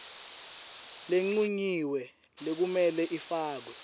lencunyiwe lekumele ifakwe